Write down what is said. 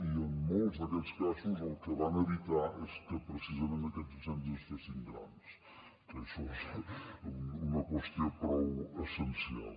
i en molts d’aquests casos el que van evitar és que precisament aquests incendis es fessin grans que això és una qüestió prou essencial